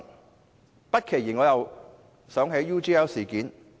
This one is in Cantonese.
我不期然想起了 UGL 事件。